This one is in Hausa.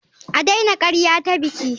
A daina karyata biki.